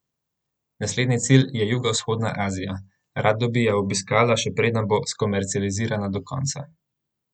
Naslednji cilj je jugovzhodna Azija: 'Rada bi jo obiskala še preden bo skomercializirana do konca.